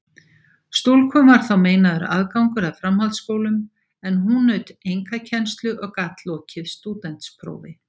Stúlkum var þá meinaður aðgangur að framhaldsskólum, en hún naut einkakennslu og gat lokið stúdentsprófi.